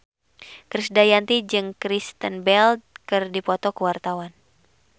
Krisdayanti jeung Kristen Bell keur dipoto ku wartawan